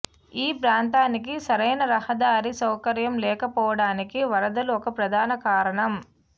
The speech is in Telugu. ఈ ప్రాంతానికి సరైన రహదారి సౌకర్యం లేకపోవడానికి వరదలు ఒక ప్రధాన కారణం